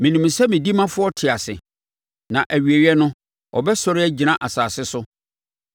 Menim sɛ me odimafoɔ te ase, na awieeɛ no ɔbɛsɔre agyina asase so.